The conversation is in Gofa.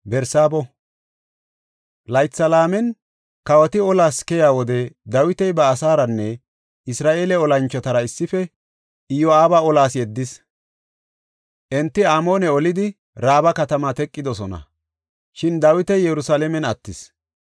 Laytha laamen kawoti olas keyiya wode Dawiti ba asaaranne Isra7eele olanchotara issife Iyo7aaba olas yeddis. Enti Amoone olidi, Raaba katamaa teqidosona. Shin Dawiti Yerusalaamen attis.